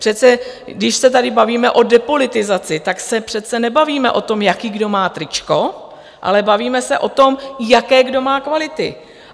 Přece když se tady bavíme o depolitizaci, tak se přece nebavíme o tom, jaké kdo má tričko, ale bavíme se o tom, jaké kdo má kvality.